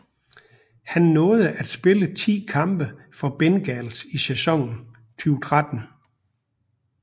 Han nåede at spille 10 kampe for Bengals i sæsonen 2013